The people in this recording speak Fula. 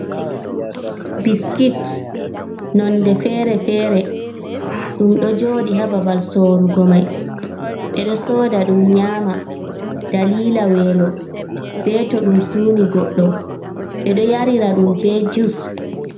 Biskit, nonde fere-fere. Ɗum ɗo jooɗi haa babal sorugo mai. Ɓe ɗo soda ɗum nyama dalila welo, be to ɗum suuni goɗɗo. Ɓe ɗo yarira ɗum be jus.